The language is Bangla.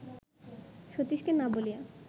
সতীশকে না বলিয়া